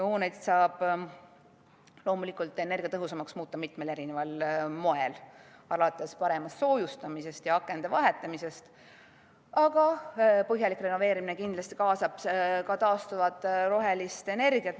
Hooneid saab energiatõhusamaks muuta mitmel moel, alates paremast soojustamisest ja akende vahetamisest, aga põhjalik renoveerimine kaasab kindlasti ka taastuvat rohelist energiat.